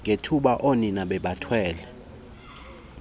ngethuba oonina bebathwele